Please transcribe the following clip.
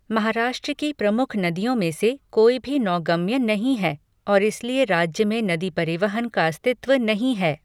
महाराष्ट्र की प्रमुख नदियों में से कोई भी नौगम्य नहीं हैं और इसलिए राज्य में नदी परिवहन का अस्तित्व नहीं है।